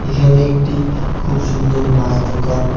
এখানে একটি খুব সুন্দর মাছ দোকান।